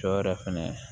Cɔ yɛrɛ fɛnɛ